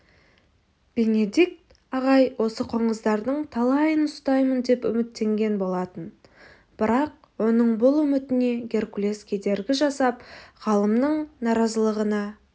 бенедикт ағай осы қоңыздардың талайын ұстаймын деп үміттенген болатын бірақ оның бұл үмітіне геркулес кедергі жасап ғалымның наразылығына